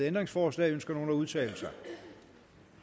ændringsforslag ønsker nogen at udtale sig